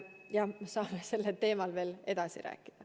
Jah, saame sellel teemal veel edasi rääkida.